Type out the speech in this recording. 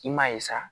I m'a ye sa